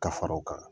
Ka fara o kan